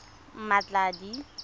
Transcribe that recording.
mmatladi